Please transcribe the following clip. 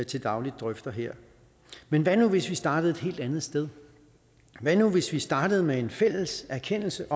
til daglig drøfter her men hvad nu hvis vi startede et helt andet sted hvad nu hvis vi startede med en fælles erkendelse